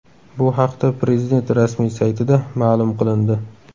Bu haqda prezident rasmiy saytida ma’lum qilindi .